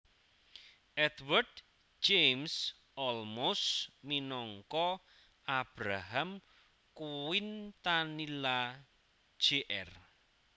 Edward James Olmos minangka Abraham Quintanilla Jr